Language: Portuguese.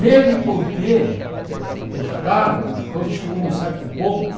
Mesmo porque os carros, quando chegou a um certo ponto,